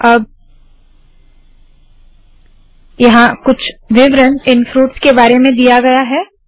अब यहाँ कुछ विवरण इन फ्रूट्स के बारे में दिया है